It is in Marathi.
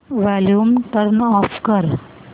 वॉल्यूम टर्न ऑफ कर